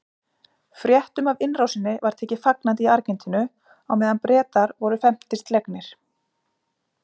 Fréttum af innrásinni var tekið fagnandi í Argentínu á meðan Bretar voru felmtri slegnir.